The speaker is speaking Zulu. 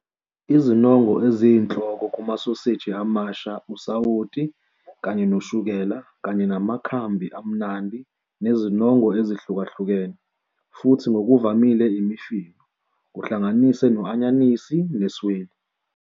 Izinongo eziyinhloko kumasoseji amasha usawoti kanye noshukela kanye namakhambi amnandi nezinongo ezihlukahlukene, futhi ngokuvamile imifino, kuhlanganise no-anyanisi nesweli.